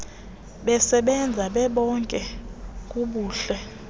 besebenza bebonke kubuhle